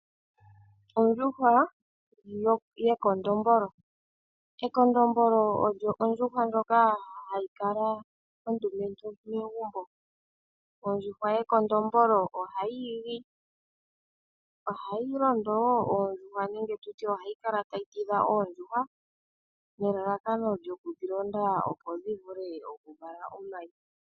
Ekondombolo olyo ondjuhwa ndjoka hayi kala ondumentu megumbo. Ondjuhwa yekondombolo ohayi igi. Ohayi londo wo oondjuhwa nenge tu tye ohayi kala tayi tidha oondjuhwa nelalakano lyoku dhi londa opo dhi vule oku vala omayi.